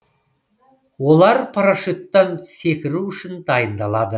олар парашюттан секіру үшін дайындалады